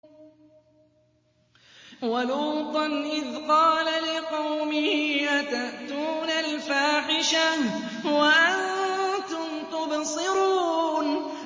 وَلُوطًا إِذْ قَالَ لِقَوْمِهِ أَتَأْتُونَ الْفَاحِشَةَ وَأَنتُمْ تُبْصِرُونَ